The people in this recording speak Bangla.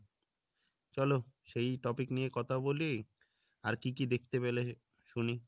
চলো সেই topic নিয়ে কথা বলি আর কী কী দেখতে পেলে শুনি